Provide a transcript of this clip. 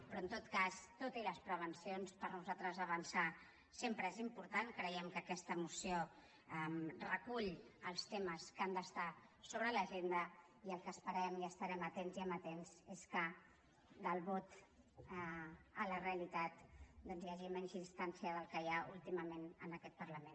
però en tot cas tot i les prevencions per nosaltres avançar sempre és important creiem que aquesta moció recull els temes que han d’estar sobre l’agenda i el que esperem i hi estarem atents i amatents és que del vot a la realitat doncs hi hagi menys distància de la que hi ha últimament en aquest parlament